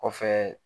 Kɔfɛ